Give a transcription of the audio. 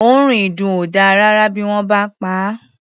Òórùn ìdùn ò dáa rárá bí wọ́n bá pa á.